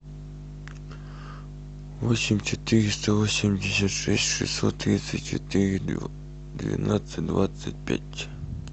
восемь четыреста восемьдесят шесть шестьсот тридцать четыре двенадцать двадцать пять